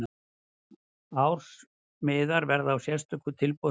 Ársmiðar verða á sérstöku tilboðsverði.